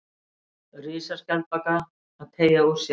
Risaskjaldbaka að teygja úr sér.